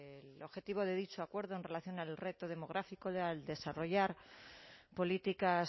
el objetivo de dicho acuerdo en relación al reto demográfico al desarrollar políticas